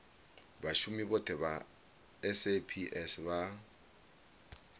vhashumi vhothe vha saps vha